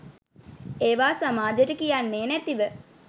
ඒවා සමාජෙට කියන්නේ නැතිව